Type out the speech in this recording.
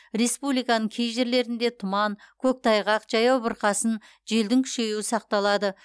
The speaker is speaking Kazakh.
республиканың кей жерлерінде тұман көктайғақ жаяу бұрқасын желдің күшеюі сақталады